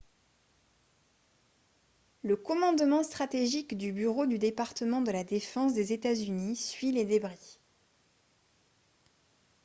le commandement stratégique du bureau du département de la défense des états-unis suit les débris